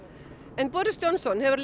en Johnson hefur